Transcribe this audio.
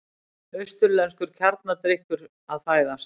Austurlenskur kjarnadrykkur að fæðast.